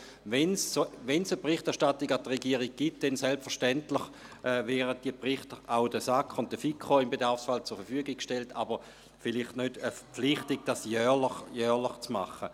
Wenn es eine Berichterstattung an die Regierung gibt, werden diese Berichte im Bedarfsfall selbstverständlich auch der SAK und der FiKo zur Verfügung gestellt, aber vielleicht nicht aufgrund der Verpflichtung, dies jährlich zu tun.